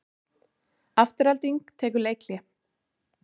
Afturelding tekur leikhlé